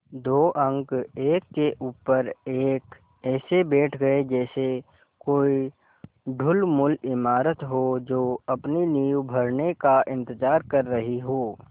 दो अंक एक के ऊपर एक ऐसे बैठ गये जैसे कोई ढुलमुल इमारत हो जो अपनी नींव भरने का इन्तज़ार कर रही हो